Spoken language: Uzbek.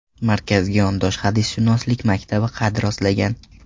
Markazga yondosh hadisshunoslik maktabi qad rostlagan.